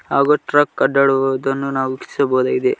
ಹಾಗೂ ಟ್ರಕ್ ಅಡ್ಡಾಡುವುದನ್ನು ನಾವು ವೀಕ್ಷಿಸಬಹುದಾಗಿದೆ.